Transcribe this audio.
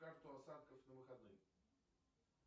карту осадков на выходные